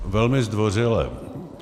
Velmi zdvořile.